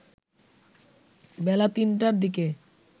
বেলা ৩টার দিকে